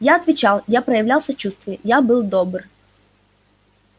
я отвечал я проявлял сочувствие я был добр